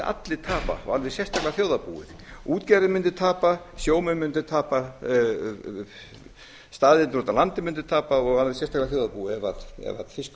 allir tapa og alveg sérstaklega þjóðarbúið útgerðin mundi tapa sjómenn mundu tapa staðirnir úti á landi mundu tapa og alveg sérstaklega þjóðarbúið ef fiskurinn